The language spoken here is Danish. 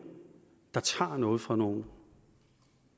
der tager noget fra nogen